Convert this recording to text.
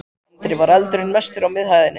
Andri: Var eldurinn mestur á miðhæðinni?